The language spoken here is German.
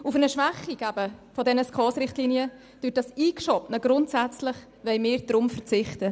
Auf eine Schwächung der SKOS-Richtlinien durch das eingeschobene Wort «grundsätzlich» wollen wir deshalb verzichten.